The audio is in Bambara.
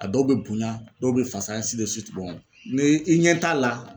A dɔw be bonya dɔw be fasa ɛnsi de siwiti n'i ɲɛ t'a la